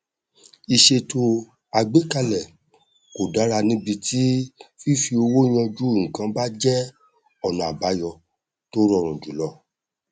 ìṣètò àgbékalẹ kò dára níbi tí fífi owó yanjú nnkan bá jẹ ọnà àbáyọ tó rọrùn jùlọ